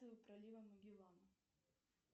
пролива магелан